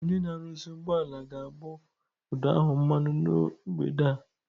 Onye na-arụzi ụgbọala ga-agbụ ụdọ ahụ mmanụ na mgbede a.